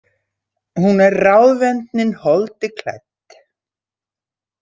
Hún er ráðvendnin holdi klædd.